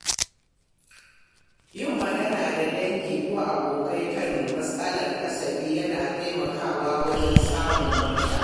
Yin magana da dangi ko abokai kan matsalolin kasafi yana taimakawa wajen samun mafita.